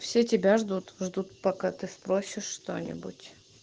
все тебя ждут ждут пока ты спросишь что-нибудь